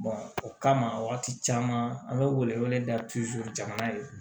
o kama wagati caman an be wele wele da jamana ye